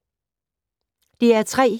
DR P3